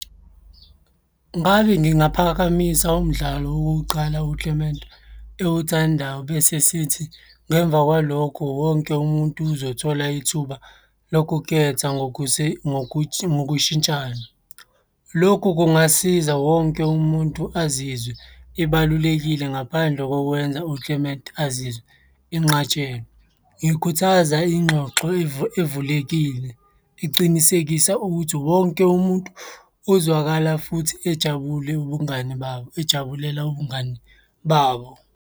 Ngabe ngingaphakamisa umdlalo wokuqala u-Clement ewuthandayo bese sithi ngemva kwalokho wonke umuntu uzothola ithuba lokuketha ngokushintshana. Lokhu kungasiza wonke umuntu azizwe ebalulekile ngaphandle kokwenza u-Clement azizwe enqatshelwe. Ngikhuthaza ingxoxo evulekile, icinisekisa ukuthi wonke umuntu uzwakala futhi ejabule ubungani babo, ejabulela ubungani babo.